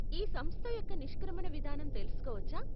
ఈ సంస్థ యొక్క నిష్క్రమణ విధానం తెలుసుకోవచ్చా?